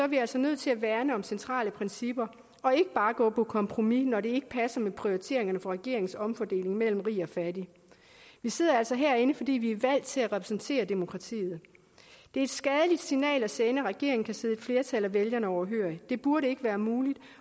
vi altså nødt til at værne om centrale principper og ikke bare gå på kompromis når det ikke passer med prioriteringerne for regeringens omfordeling mellem rig og fattig vi sidder altså herinde fordi vi er valgt til at repræsentere demokratiet det er et skadeligt signal at sende at regeringen kan sidde et flertal af vælgerne overhørig det burde ikke være muligt